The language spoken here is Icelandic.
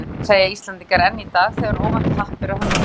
Hvalreki, segja Íslendingar enn í dag þegar óvænt happ ber að höndum.